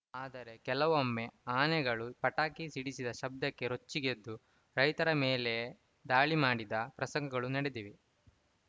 ಆದರೆ ಕೆಲವೊಮ್ಮೆ ಆನೆಗಳು ಪಟಾಕಿ ಸಿಡಿಸಿದ ಶಬ್ಧಕ್ಕೆ ರೊಚ್ಚಿಗೆದ್ದು ರೈತರ ಮೇಲೆಯೇ ದಾಳಿ ಮಾಡಿದ ಪ್ರಸಂಗಗಳೂ ನಡೆದಿವೆ